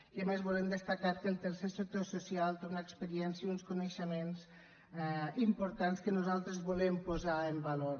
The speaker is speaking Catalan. i a més volem destacar que el tercer sector social té una experiència i uns coneixements importants que nosaltres volem posar en valor